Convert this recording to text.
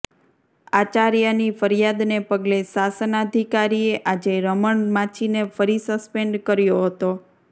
આચાર્યાની ફરિયાદને પગલે શાસનાધીકારીએ આજે રમણ માછીને ફરી સસ્પેન્ડ કર્યાે હતો